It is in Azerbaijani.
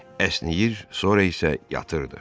əsnəyir, sonra isə yatırdı.